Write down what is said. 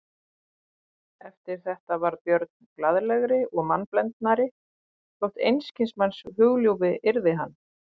Eftir þetta varð Björn glaðlegri og mannblendnari þótt einskis manns hugljúfi yrði hann.